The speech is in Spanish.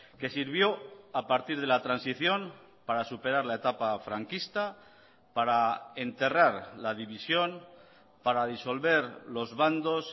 que sirvió a partir de la transición para superar la etapa franquista para enterrar la división para disolver los bandos